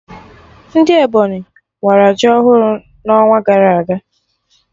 Ndị Ebonyi wara ji ọhụrụ n'ọnwa gara aga